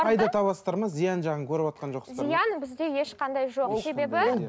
пайда табасыздар ма зиян жағын көріватқан жоқсыздар ма зиян бізде ешқандай жоқ себебі